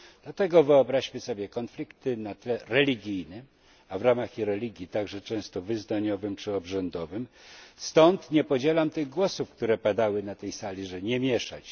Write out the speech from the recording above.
Dlatego wyobraźmy sobie konflikty na tle religijnym, a w ramach religii także często wyznaniowym czy obrzędowym, stąd nie podzielam tych głosów, które padały na tej sali, żeby się nie mieszać.